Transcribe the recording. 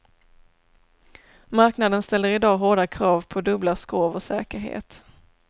Marknaden ställer i dag hårda krav på dubbla skrov och säkerhet.